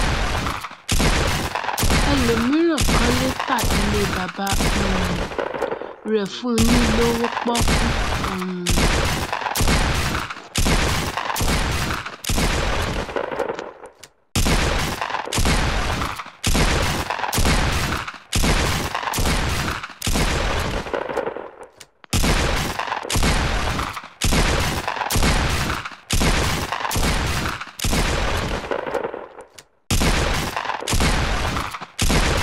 ẹlòmíràn kanlẹ ta ilẹ baba um rẹ fún un ni lówó pọọkú um